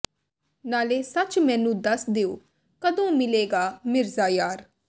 ਨਾਲੇ ਸੱਚ ਮੈਨੂੰ ਦੱਸ ਦੇਹੁ ਕਦੋਂ ਮਿਲੇ ਗਾ ਮਿਰਜ਼ਾ ਯਾਰ